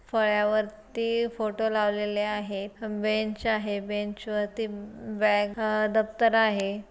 फळ्यावरती photo लावलेले आहेत bench आहे बेंच वरती बॅग दप्तर आहे.